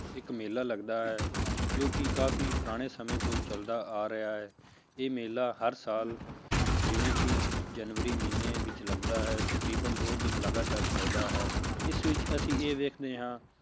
ਇੱਕ ਮੇਲਾ ਲੱਗਦਾ ਹੈ ਜੋ ਕਿ ਕਾਫ਼ੀ ਪੁਰਾਣੇ ਸਮੇਂ ਤੋਂ ਚੱਲਦਾ ਆ ਰਿਹਾ ਹੈ, ਇਹ ਮੇਲਾ ਹਰ ਸਾਲ ਜਿਵੇਂ ਕਿ ਜਨਵਰੀ ਮਹੀਨੇ ਵਿੱਚ ਲੱਗਦਾ ਹੈ ਤਕਰੀਬਨ ਦੋ ਦਿਨ ਲਗਾਤਾਰ ਚੱਲਦਾ ਹੈ ਇਸ ਵਿੱਚ ਅਸੀਂ ਇਹ ਵੇਖਦੇ ਹਾਂ